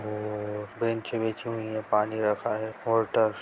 और बेंच बिछी हुई है पानी रखा हुआ है मोटर्स --